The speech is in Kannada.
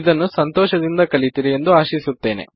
ಇದನ್ನು ಸಂತೋಷದಿಂದ ಕಲಿತಿರಿ ಎಂದು ಆಶಿಸುತ್ತೇನೆ